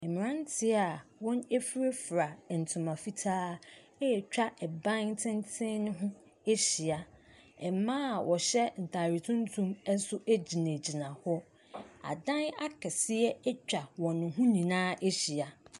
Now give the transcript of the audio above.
Mmaranteɛ a wɔn afira fira ntoma fitaa ɛretwa ɛdan tenten no ho ahyia ɛmmaa a wɔhyɛ ntaade tumtum nso gyinagyina hɔ adan akeseɛ atwa wɔn ho nyinaa ahyia.